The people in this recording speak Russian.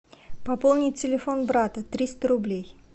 пополнить телефон брата триста рублей